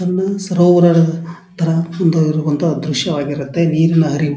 ಒಂದು ಸರೋವರದ ತರ ಒಂದು ದ್ರಶ್ಯವಾಗಿರುತ್ತೆ ನೀರಿನ ಹರಿವು--